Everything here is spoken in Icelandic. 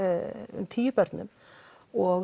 um tíu börnum og